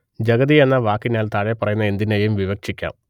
ജഗതി എന്ന വാക്കിനാൽ താഴെപ്പറയുന്ന എന്തിനേയും വിവക്ഷിക്കാം